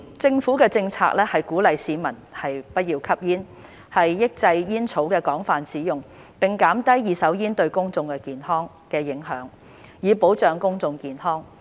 政府的政策是鼓勵市民不要吸煙、抑制煙草的廣泛使用，並減低二手煙對公眾的影響，以保障公眾健康。